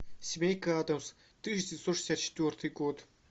семейка адамс тысяча девятьсот шестьдесят четвертый год